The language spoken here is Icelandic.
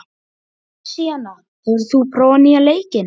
Messíana, hefur þú prófað nýja leikinn?